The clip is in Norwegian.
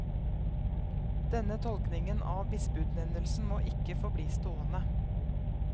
Denne tolkningen av bispeutnevnelsen må ikke få bli stående.